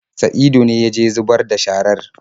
Saidu ne ya je zubar da sharar.